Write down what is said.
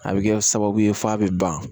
A bɛ kɛ sababu ye f'a bɛ ban